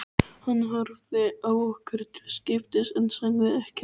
Hann horfði á okkur til skiptis en sagði ekki orð.